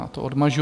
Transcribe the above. Já to odmažu.